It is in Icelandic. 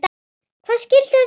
Hvað skyldi það vera núna?